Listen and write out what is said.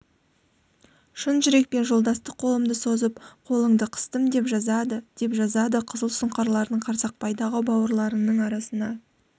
шын жүрекпен жолдастық қолымды созып қолыңды қыстым деп жазады деп жазады қызыл сұңқарларыңды қарсақпайдағы бауырларыңның арасына